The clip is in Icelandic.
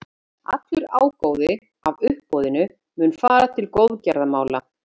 Allur ágóði af uppboðinu mun fara til góðgerðamála.